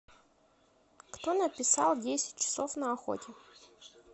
кто написал десять часов на охоте